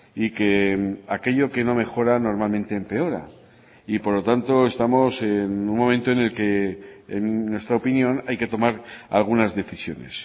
y que aquello que no mejora normalmente empeora y por lo tanto estamos en un momento en el que en nuestra opinión hay que tomar algunas decisiones